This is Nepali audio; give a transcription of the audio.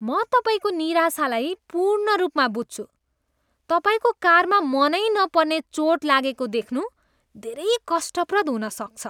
म तपाईँको निराशालाई पूर्ण रूपमा बुझ्छु। तपाईँको कारमा मनै नपर्ने चोट लागेको देख्नु धेरै कष्टप्रद हुन सक्छ।